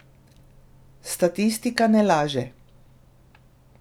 Statistika ne laže.